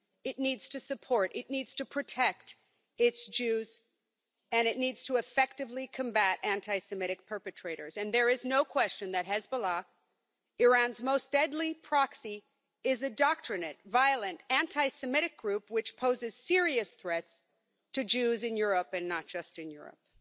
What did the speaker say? It needs to support, it needs to protect its Jews and it needs to effectively combat anti Semitic perpetrators, and there is no question that Hezbollah, Iran's most deadly proxy, is an indoctrinated, violent anti Semitic group which poses serious threats to Jews in Europe and not just in Europe.